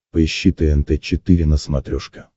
поищи тнт четыре на смотрешке